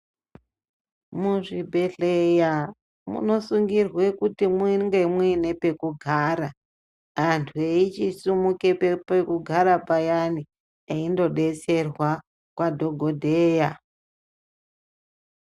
Muzvibhedhleya munosungirwe kuti mwinge mwine pekugara. Antu veyichisimuke pekugara payani, eyindodetserwa kwadhokodheya.